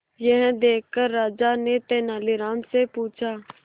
यह देखकर राजा ने तेनालीराम से पूछा